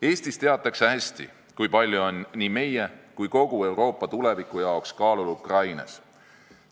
Eestis teatakse hästi, kui palju on nii meie kui ka kogu Euroopa tuleviku jaoks kaalul Ukrainas.